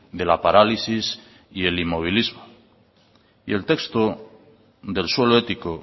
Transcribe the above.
de la parálisis y el inmovilismo y el texto del suelo ético